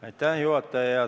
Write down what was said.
Aitäh, juhataja!